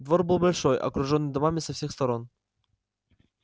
двор был большой окружённый домами со всех сторон